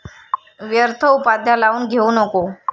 व्यर्थ उपाध्या लावून घेऊ नको ।